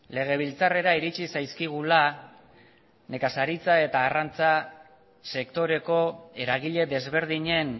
legebiltzarrera iritsi zaizkigula nekazaritza eta arrantza sektoreko eragile desberdinen